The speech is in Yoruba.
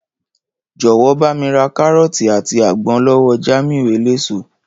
Jò̩wó̩ bá mi ra káró̩ò̩tì àti àgbo̩n ló̩wó̩ Jámíù eléso